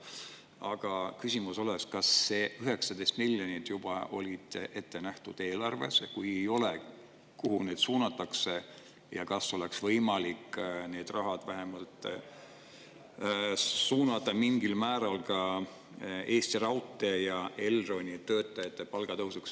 Aga küsimus on see, kas see 19 miljonit oli juba eelarves ette nähtud, ja kui ei olnud, kuhu see siis suunatakse, ja kas oleks võimalik seda raha vähemalt mingil määral suunata ka Eesti Raudtee ja Elroni töötajate palga tõusuks.